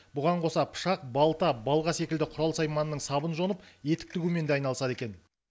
бұған қоса пышақ балта балға секілді құрал сайманның сабын жонып етік тігумен де айналысады екен